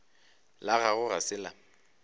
la gago ga se la